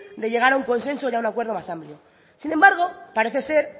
de llegar a un consenso y a un acuerdo más amplio sin embargo parece ser